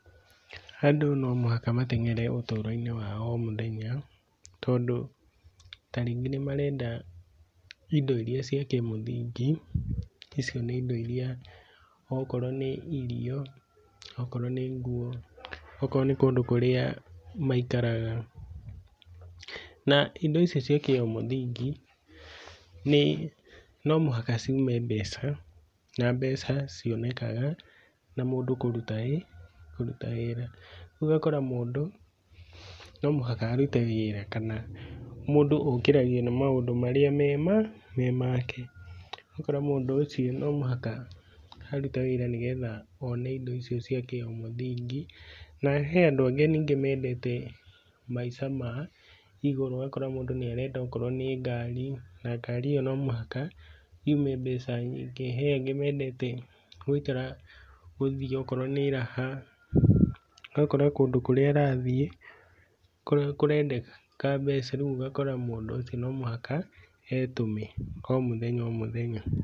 Andũ no mũhaka mateng’ere ũtũroinĩ wa o mũthenya, tondũ tarĩngĩ nĩmarenda indo iria cia kĩmũthingĩ, icio nĩ indo iria okorwo nĩ irio, okorwo nĩ nguo, okorwo nĩ kũndũ kũrĩa maikaraga, na indo ici cia o kimũthingi, nĩ no mũhaka ciume mbeca, na mbeca cionekaga, na mũndũ kũruta wĩ, kũruta wĩra. Rĩu ũgakora mũndũ, no mũhaka arute wĩra kana mũndũ okĩragio nĩmaundũ marĩa me ma? me make. Ũgakora mũndũ ũcio no mũhaka arute wĩra nĩgetha one indo icio cia o kĩmũthingĩ, na he andũ angĩ ningĩ mendete maica ma igũrũ ũgakora mũndũ nĩareka okorwo nĩ ngari, na ngari ĩyo no mũhaka yume mbeca nyingĩ. He angĩ mendete gũikara gũthiĩ okorwo nĩ raha ũgakora kũndũ kũrĩa arathiĩ, kũrendeka mbeca rĩũ ũgakora mũndũ ũcio no mũhaka etũme o mũthenya o mũthenya.